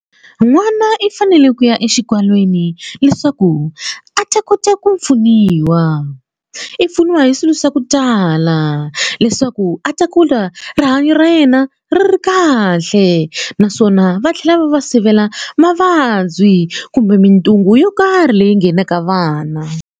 N'wana i fanele ku ya exikalwini leswaku a ta kota ku pfuniwa i pfuniwa hi swilo swa ku tala leswaku a ta kula rihanyo ra yena ri ri kahle naswona va tlhela va va sivela mavabyi kumbe mintungu yo karhi leyi nghenaka vana.